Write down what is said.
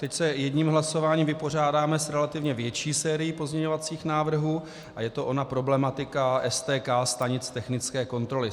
Teď se jedním hlasováním vypořádáme s relativně větší sérií pozměňovacích návrhů a je to ona problematika STK, stanic technické kontroly.